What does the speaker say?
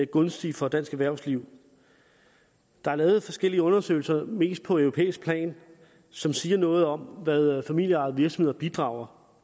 gunstige for dansk erhvervsliv der er lavet forskellige undersøgelser mest på europæisk plan som siger noget om hvad familieejede virksomheder bidrager